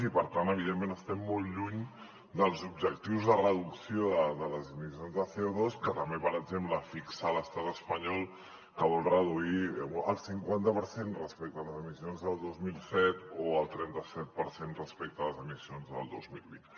i per tant evidentment estem molt lluny dels objectius de reducció de les emissions de cofixa l’estat espanyol que vol reduir el cinquanta per cent respecte a les emissions del dos mil set o el trenta set per cent respecte a les emissions del dos mil vint